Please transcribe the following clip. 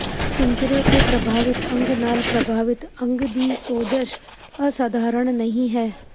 ਪਿੰਜਰੇ ਤੇ ਪ੍ਰਭਾਵਿਤ ਅੰਗ ਨਾਲ ਪ੍ਰਭਾਵਿਤ ਅੰਗ ਦੀ ਸੋਜਸ਼ ਅਸਧਾਰਨ ਨਹੀਂ ਹੈ